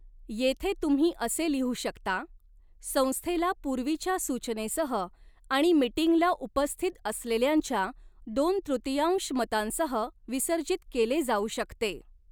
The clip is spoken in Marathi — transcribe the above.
येथे, तुम्ही असे लिहू शकता, 'संस्थेला पूर्वीच्या सूचनेसह आणि मीटिंगला उपस्थित असलेल्यांच्या दोन तृतीयांश मतांसह विसर्जित केले जाऊ शकते.'